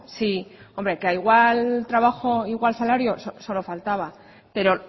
sí hombre que a igual trabajo igual salario solo faltaba pero